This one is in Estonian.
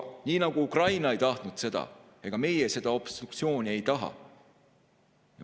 Nii nagu Ukraina ei tahtnud sõda, ega meie seda obstruktsiooni ei taha.